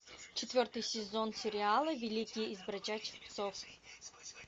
четвертый сезон сериала великий из бродячих псов